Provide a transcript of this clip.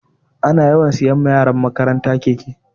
Ana yawan siya wa yaran makaranta keke